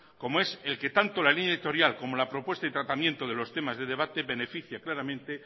como es el que tanto la línea editorial como la propuesta y tratamiento de los temas de debate beneficie claramente